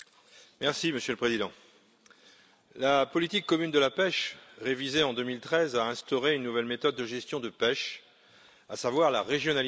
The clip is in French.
Monsieur le Président, la politique commune de la pêche, révisée en 2013, a instauré une nouvelle méthode de gestion de pêche, à savoir la régionalisation.